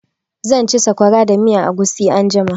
Zan ci sakwara da miyan agushi anjima.